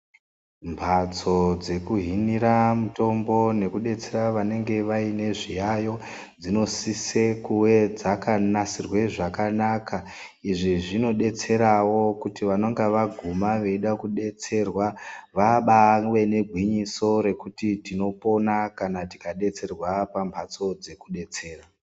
Mbatso dekuhinira mutombo nekudetsera vanenge vaine zviyaiyo, dzinosise kuve dzakanasirwe zvakanaka. Izvi zvinodetserawo kuti vanenge vaguma veida kudetsererwa, vabawe negwinyiso rekuti ndinopona kana ndikadetserwa pambatso dzekudetsera.